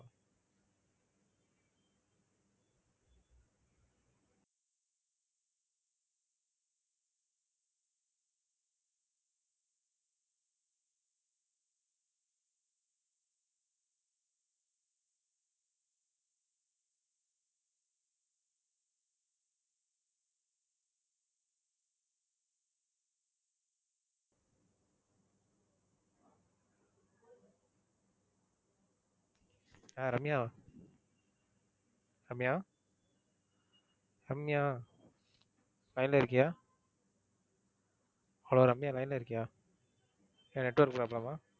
ஆஹ் Ramya Ramya Ramya line ல இருக்கியா? hello Ramya line ல இருக்கியா? ஏன் network problem ஆ?